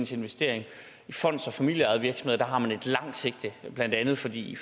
sin investering i fonds og familieejede virksomheder har man et langt sigte blandt andet fordi